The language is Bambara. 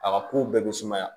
A ka kow bɛɛ bɛ sumaya